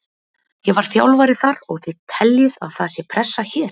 Ég var þjálfari þar og þið teljið að það sé pressa hér?